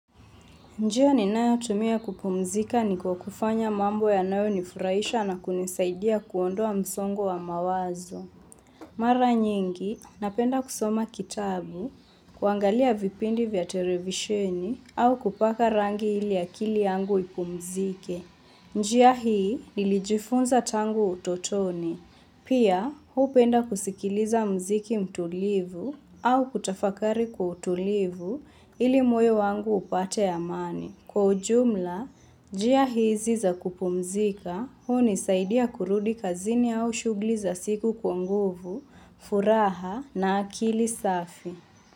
Njia ninayotumia kupumzika ni kwa kufanya mambo yanayo nifurahisha na kunisaidia kuondoa msongo wa mawazo. Mara nyingi, napenda kusoma kitabu, kuangalia vipindi vya televisioni, au kupaka rangi ili akili yangu ipumzike. Njia hii, nilijifunza tangu utotoni. Pia, hupenda kusikiliza mziki mtulivu au kutafakari kwa utulivu ili moyo wangu upate amani. Kwa ujumla, njia hizi za kupumzika, huni saidia kurudi kazini au shugli za siku kwa nguvu, furaha na akili safi.